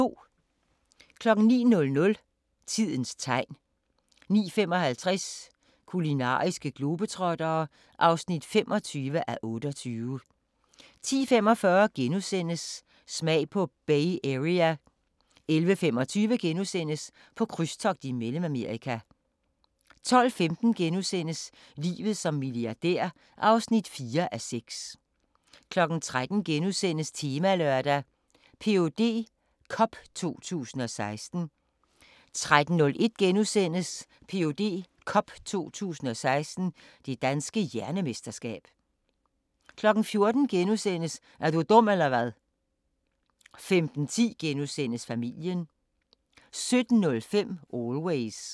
09:00: Tidens Tegn 09:55: Kulinariske globetrottere (25:28) 10:45: Smag på Bay Area * 11:25: På krydstogt i Mellemamerika * 12:15: Livet som milliardær (4:6)* 13:00: Temalørdag: Ph.D. Cup 2016 * 13:01: Ph.D. Cup 2016 – Det Danske Hjernemesterskab * 14:00: Er du dum eller hvad? * 15:10: Familien * 17:05: Always